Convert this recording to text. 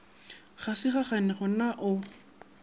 ga se gageno na o